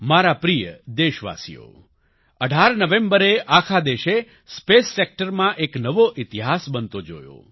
માર પ્રિય દેશવાસીઓ 18 નવેમ્બરે આખા દેશે સ્પેસ સેક્ટરમાં એક નવો ઈતિહાસ બનતો જોયો